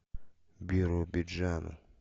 биробиджану